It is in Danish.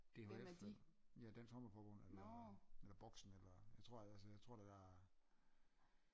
DHF eller ja Dansk Håndbold Forbund eller boxen eller jeg tror jeg tror at der